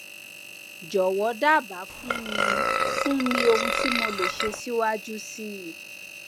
jọwọ dábàá fún mi fún mi ohun tí mo lè ṣe síwájú sí i